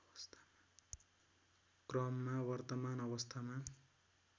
क्रममा वर्तमान अवस्थामा